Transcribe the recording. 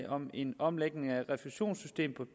om en omlægning af refusionssystemet